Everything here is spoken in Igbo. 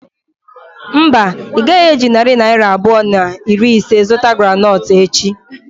Mba, ị gaghị eji narị naira abụọ na iri ise zụta groundnut echi.